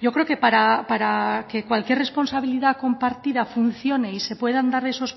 yo creo que para que cualquier responsabilidad compartida funcione y se puedan dar esos